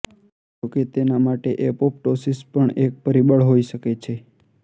જોકે તેના માટે એપોપ્ટોસીસ પણ એક પરિબળ હોઇ શકે છે